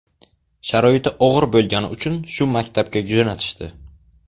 Sharoiti og‘ir bo‘lgani uchun shu maktabga jo‘natishdi.